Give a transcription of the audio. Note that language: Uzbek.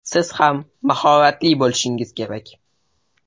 Siz ham mahoratli bo‘lishingiz kerak.